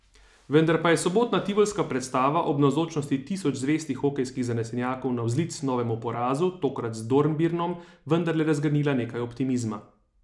Vendar pa je sobotna tivolska predstava ob navzočnosti tisoč zvestih hokejskih zanesenjakov navzlic novemu porazu, tokrat z Dornbirnom, vendarle razgrnila nekaj optimizma.